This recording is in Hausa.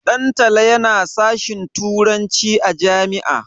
Dantala yana sashin turanci a jami'a.